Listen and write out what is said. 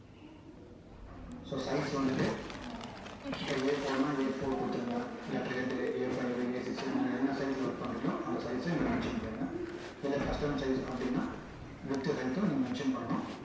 so size வந்துட்டு இப்போ a four னா a four கொடுத்துருங்க இல்ல a five a six னு நீங்க என்ன size ல work பண்றீங்களோ அந்த size ச இங்க mention பண்ணிருங்க இல்ல custom size அப்படின்னா width height உம் நீங்க mention பண்ணணும்